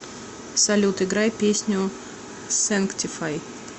салют играй песню сэнктифай